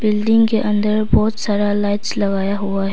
Building के अंदर बहोत सारा लाइट्स लगाया हुआ है।